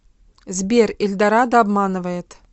сбер эльдорадо обманывает